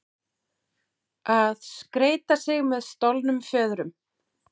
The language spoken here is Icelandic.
Að skreyta sig með stolnum fjöðrum